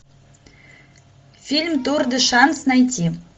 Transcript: фильм тур де шанс найти